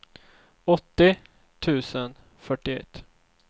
åttio tusen fyrtioett